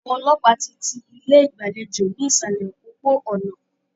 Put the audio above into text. Àwọn ọlọ́pàá ti ti ilé ìgbàlejò ní ìsàlẹ̀ òpópó-ònà.